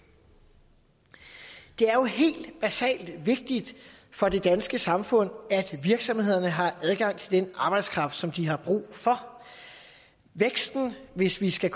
er jo helt basalt vigtigt for det danske samfund at virksomhederne har adgang til den arbejdskraft som de har brug for hvis vi skal